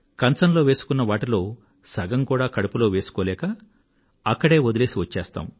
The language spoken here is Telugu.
కంచంలో వేసుకున్న వాటిలో సగం కూడా కడుపులో వేసుకోలేక అక్కడే వదిలేసి వచ్చేస్తాం